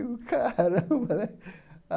Caramba, né?